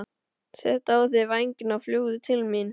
Settu á þig vængina og fljúgðu til mín.